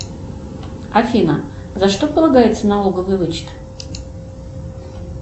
афина за что полагается налоговый вычет